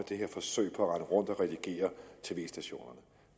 det her forsøg på at rende rundt og redigere for tv stationerne